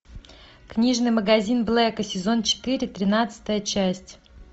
книжный магазин блэка сезон четыре тринадцатая часть